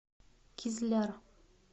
кизляр